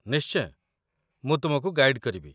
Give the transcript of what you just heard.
ନିଶ୍ଚୟ, ମୁଁ ତୁମକୁ ଗାଇଡ଼୍ କରିବି